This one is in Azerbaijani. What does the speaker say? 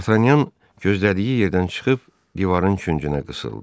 D'Artagnan gözlədiyi yerdən çıxıb divarın küncünə qısıldı.